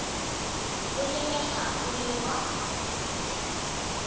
o lebega o le wa